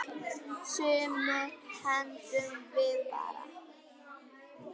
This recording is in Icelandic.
Sumu hendum við bara.